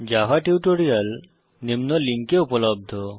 Java tutorial নিম্ন লিঙ্কে উপলব্ধ